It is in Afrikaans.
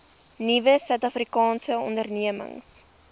nuwe suidafrikaanse ondernemings